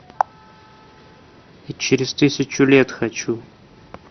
и через тысячу лет хочу